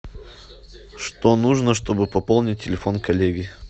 что нужно чтобы пополнить телефон коллеги